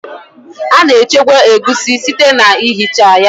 A na-echekwa egusi site na ihicha ya